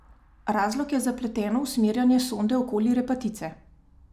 Razlog je zapleteno usmerjanje sonde okoli repatice.